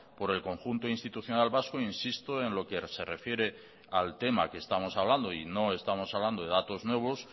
por el conjunto institucional vasco insisto en lo que se refiere al tema que estamos hablando y no estamos hablando de datos nuevos